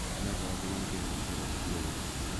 America kokinamge eun koyaak tuyonon.